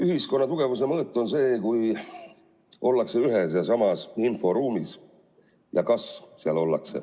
Ühiskonna tugevuse mõõt on see, kui ollakse ühes ja samas inforuumis.